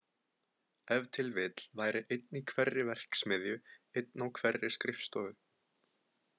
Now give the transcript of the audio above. Ef til vill væri einn í hverri verksmiðju, einn á hverri skrifstofu.